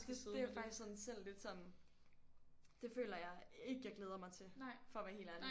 Det jeg faktisk sådan selv lidt sådan det føler jeg ikke jeg glæder mig til for at være helt ærlig